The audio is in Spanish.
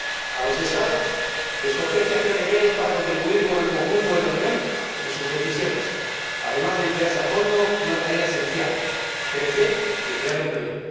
A los Estados les compete hacer deberes para contribuir con el conjunto de la Unión a sus decisiones, además de emplearse a fondo en una tarea esencial crecer y crear empleo.